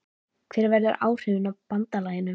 Hver verða áhrifin af BANDALAGINU?